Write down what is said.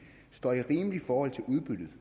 ind i for